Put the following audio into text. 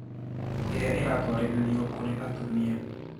ĩrĩa ĩratwarĩrĩrio kũrĩ atumia